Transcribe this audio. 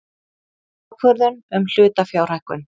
Ákvörðun um hlutafjárhækkun.